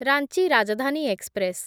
Ranchi Rajdhani express